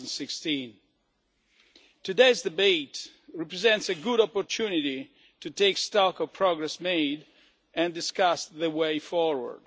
2016. Today's debate represents a good opportunity to take stock of progress made and discuss the way forward.